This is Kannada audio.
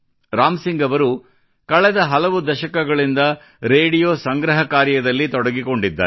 ರಾಮ್ ಸಿಂಗ್ ಅವರು ಕಳೆದ ಹಲವು ದಶಕಗಳಿಂದ ರೇಡಿಯೋ ಸಂಗ್ರಹ ಕಾರ್ಯದಲ್ಲಿ ತೊಡಗಿಕೊಂಡಿದ್ದಾರೆ